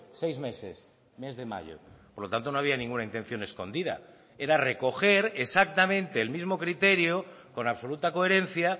seis meses mes de mayo por lo tanto no había ninguna intención escondida era recoger exactamente el mismo criterio con absoluta coherencia